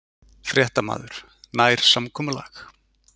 Fréttamaður: Nær samkomulag?